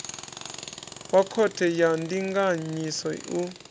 wa khothe ya ndinganyiso u